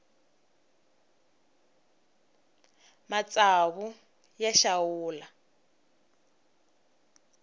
matsawu ya xawula